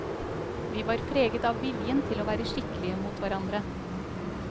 Vi var preget av viljen til å være skikkelige mot hverandre.